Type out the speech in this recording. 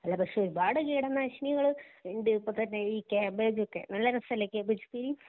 അല്ല പക്ഷേ ഒരു പാട് കീടനാശിനികള് ഇണ്ടു ഇപ്പോ തന്നെ ഈ കാബേജോക്കെ നല്ല രസമല്ലേ കാബേജ് ഉപ്പേരി